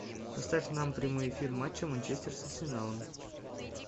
поставь нам прямой эфир матча манчестер с арсеналом